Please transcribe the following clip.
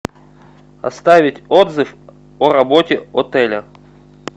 оставить отзыв о работе отеля